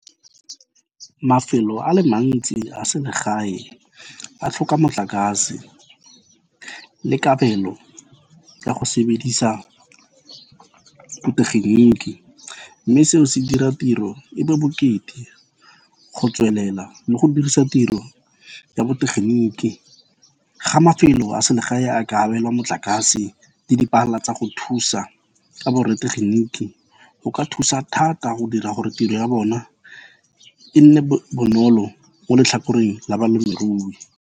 Mafelo a le mantsi a selegae a tlhoka motlakase le kabelo ka go sebedisa botegeniki mme seo se dira tiro e be bokete go tswelela mo go dirise tiro ya botegeniki ga mafelo a selegae a ka abelwa motlakase le dipala tsa go thusa ka bo rra setegeniki, go ka thusa thata go dira gore tiro ya bona e nne bonolo mo letlhakoreng la balemirui.